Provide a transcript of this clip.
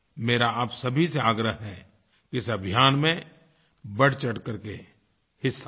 मेरा आप सभी से आग्रह है कि इस अभियान में बढ़चढ़ करके हिस्सा लें